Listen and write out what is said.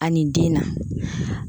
Ani den na